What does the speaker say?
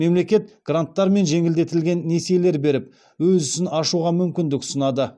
мемлекет гранттар мен жеңілдетілген несиелер беріп өз ісін ашуға мүмкіндік ұсынады